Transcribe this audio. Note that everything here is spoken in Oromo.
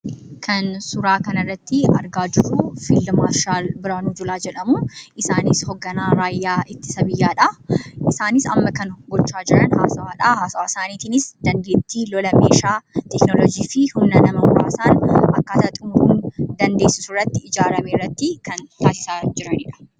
Kan suuraa kanarratti argaa jirru fiild maarshaal Biraanuu Juulaa jedhamu. Isaanis hoogganaa raayyaa ittisa biyyaadha. Isaanis kan amma gochaa jiran haasawaadha haasawaa isaaniitiinis dandeettii lola meeshaa, teeknooloojii fi humna nama muraasaan akkaataa ittiin xumuruun danda'amurratti kan taasisaa jiranidha.